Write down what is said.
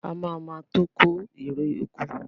A ma ma tó kó ère oko